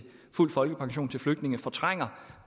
fuld folkepension til flygtninge fortrænger